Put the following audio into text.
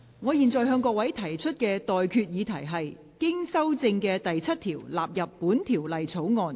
我現在向各位提出的待決議題是：經修正的第7條納入本條例草案。